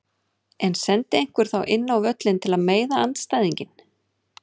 En sendi einhver þá inn á völlinn til að meiða andstæðinginn?